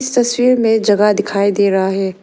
तस्वीर में जगा दिखाई दे रहा है।